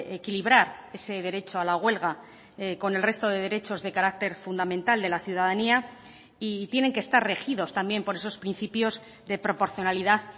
equilibrar ese derecho a la huelga con el resto de derechos de carácter fundamental de la ciudadanía y tienen que estar regidos también por esos principios de proporcionalidad